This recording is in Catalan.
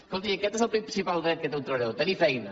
escolti i aquest és el principal dret que té el treballador tenir feina